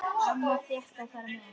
Amma fékk að fara með.